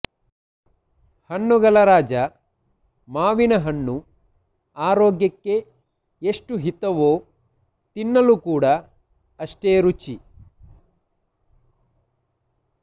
ಹಣ್ಣುಗಳ ರಾಜ ಮಾವಿನ ಹಣ್ಣು ಆರೋಗ್ಯಕ್ಕೆ ಎಷ್ಟು ಹಿತವೋ ತಿನ್ನಲು ಕೂಡ ಅಷ್ಟೇ ರುಚಿ